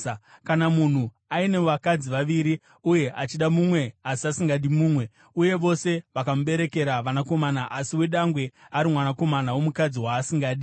Kana munhu aine vakadzi vaviri, uye achida mumwe asi asingadi mumwe, uye vose vakamuberekera vanakomana asi wedangwe ari mwanakomana womukadzi waasingadi,